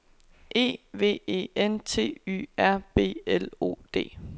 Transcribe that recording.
E V E N T Y R B L O D